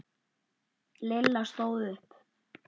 Lilla stóð upp.